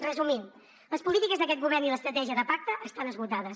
resumint les polítiques d’aquest govern i l’estratègia de pacte estan esgotades